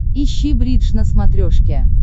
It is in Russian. ищи бридж на смотрешке